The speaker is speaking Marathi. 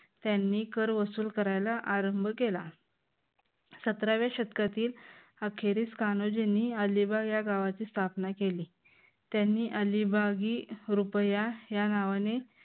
त्यांनी कर वसूल करायला आरंभ केला. सतराव्या शतकातील अखेरीस कान्होजींनी अलिबाग या गावाची स्थापना केली त्यांनी अलिबागी रुपया या नावाने